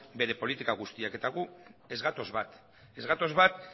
bere politika guztiak eta gu ez gatoz bat ez gatoz bat